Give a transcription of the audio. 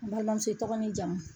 N balimamuso i tɔgɔ n'i jamu ?